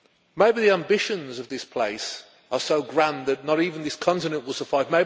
Maybe the ambitions of this place are so grand that not even this continent will suffice.